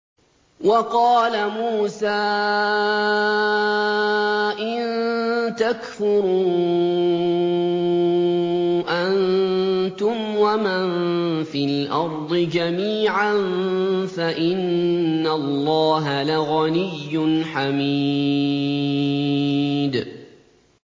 وَقَالَ مُوسَىٰ إِن تَكْفُرُوا أَنتُمْ وَمَن فِي الْأَرْضِ جَمِيعًا فَإِنَّ اللَّهَ لَغَنِيٌّ حَمِيدٌ